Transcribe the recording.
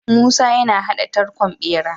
Musa yana hada tarkon bera